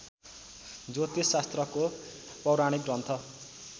ज्योतिष शास्त्रको पौराणिक ग्रन्थ